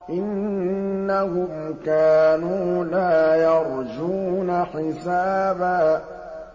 إِنَّهُمْ كَانُوا لَا يَرْجُونَ حِسَابًا